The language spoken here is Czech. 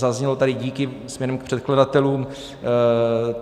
Zaznělo tady díky směrem k předkladatelům.